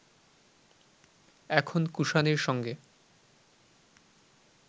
এখন কুষাণের সঙ্গে